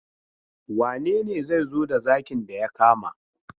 Wane ne zai zo da zakin da ya kama?